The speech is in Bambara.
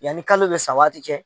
Yanni kalo bɛ sa waati cɛ.